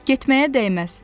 Getməyə dəyməz.